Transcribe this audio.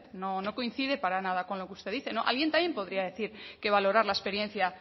no coincide para nada con lo que usted dice alguien también podría decir que valorar la experiencia